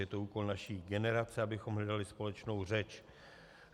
Je to úkol naší generace, abychom hledali společnou řeč.